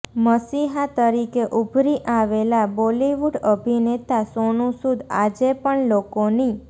મસીહા તરીકે ઉભરી આવેલા બોલીવુડ અભિનેતા સોનુ સૂદ આજે પણ લોકોની